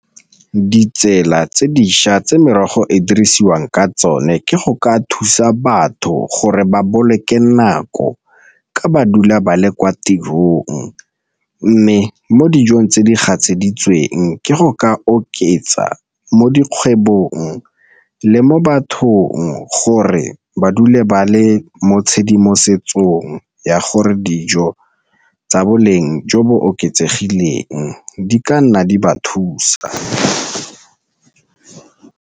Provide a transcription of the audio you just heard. Ke ditsela tse dišwa tse merogo e dirisiwang ka tsone ke go ka thusa batho gore ba boloke nako ka ba dula ba le kwa tirong, mme mo dijong tse di gatseditsweng ke go ka oketsa mo dikgwebong le mo bathong gore ba dule ba le mo tshedimosetsong ya gore dijo tsa boleng jo bo oketsegileng di ka nna di ba thusa.